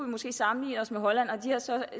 måske sammenligne os med holland og de har så